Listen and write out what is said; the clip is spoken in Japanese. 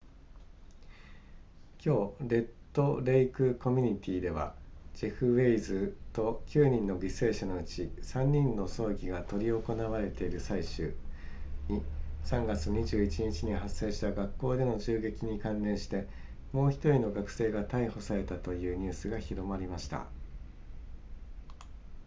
今日レッドレイクコミュニティではジェフウェイズと9人の犠牲者のうち3人の葬儀が執り行われている最中に3月21日に発生した学校での銃撃に関連してもう1人の学生が逮捕されたというニュースが広まりました